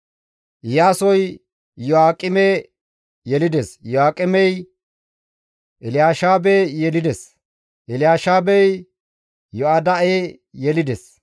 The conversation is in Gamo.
Iyaasoy Iyo7aaqeme yelides; Iyo7aaqemey Elyaasheebe yelides; Elyaasheebey Yoyada7e yelides.